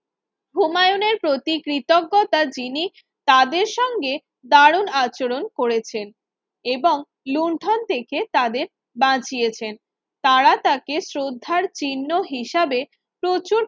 হুমায়ুনের প্রতি কৃতজ্ঞতা যিনি তাদের সঙ্গে দারুন আচরণ করেছেন এবং লুন্ঠন থেকে তাদের বাঁচিয়েছেন তারা তাকে শ্রদ্ধার চিহ্ন হিসাবে প্রচুর